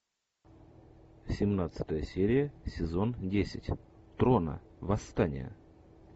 семнадцатая серия сезон десять трона восстание